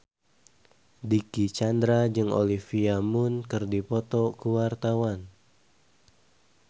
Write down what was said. Dicky Chandra jeung Olivia Munn keur dipoto ku wartawan